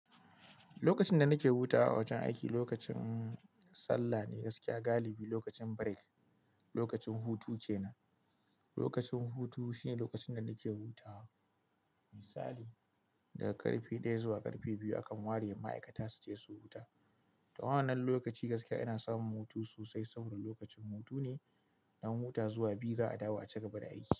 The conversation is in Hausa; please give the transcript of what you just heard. Lokacin da nake hutawa a wajen aiki lokacin sallah ne gaskiya galibi lokacin break, lokacin hutu kenan. Lokacin hutu shine lokacin da nake hutawa. Misali daga karfe daya zuwa karfe biyu akan ware ma'aikata su je su huta. Da wannan lokaci gaskiya ina samun hutu sosai saboda lokacin hutu ne. Na huta zuwa biyu za a dawo a cigaba da aiki.